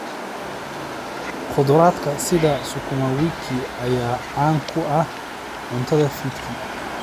Khudradda sida sukuma wiki ayaa caan ku ah cuntada fiidkii.